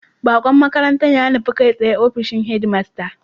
Baqon makarantar ya nufa kai tsaye ofishin head master